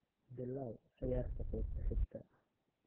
bilaw ciyaarta qaybta xigta